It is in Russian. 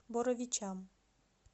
боровичам